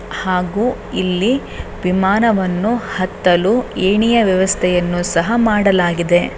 ಹಾಗೂ ಇಲ್ಲಿ ವಿಮಾನವನ್ನು ಹತ್ತಲು ಏಣಿಯ ವ್ಯವಸ್ಥೆಯನ್ನು ಸಹ ಮಾಡಲಾಗಿದೆ.